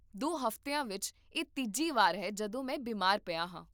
ਦੋ ਹਫ਼ਤਿਆਂ ਵਿੱਚ ਇਹ ਤੀਜੀ ਵਾਰ ਹੈ ਜਦੋਂ ਮੈਂ ਬਿਮਾਰ ਪਿਆ ਹਾਂ